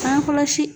Bange kɔlɔsi